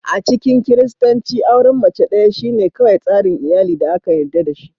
A cikin Kiristanci, auren mace ɗaya shine kawai tsarin iyali da aka yarda da shi.